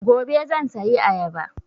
Gobe zan sayi ayaba